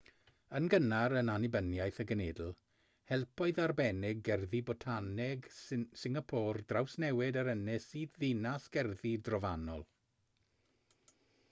yn gynnar yn annibyniaeth y genedl helpodd arbenigedd gerddi botaneg singapôr drawsnewid yr ynys i ddinas gerddi drofannol